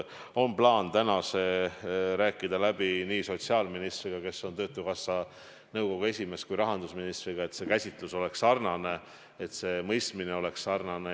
On plaan rääkida see täna läbi nii sotsiaalministriga, kes on töötukassa nõukogu esimees, kui ka rahandusministriga, et käsitus oleks sarnane, et mõistmine oleks sarnane.